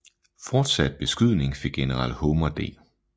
Fortsat beskydning fik general Homer D